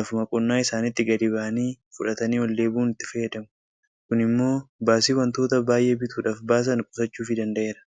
lafuma qonnaa isaaniitti gadi ba'anii fudhatanii oldeebi'uun itti fayyadamu. Kun immoo baasii wantota baay'ee bituudhaaf baasan qusachuufii danda'eera.